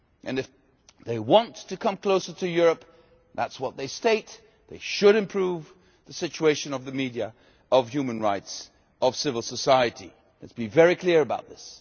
And if they want to come closer to Europe, which is what they state, they should improve the situation of the media, of human rights, of civil society, let us be very clear about this.